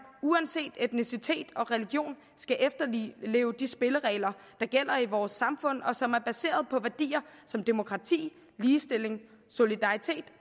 uanset etnicitet og religion skal efterleve de spilleregler der gælder i vores samfund og som er baseret på værdier som demokrati ligestilling solidaritet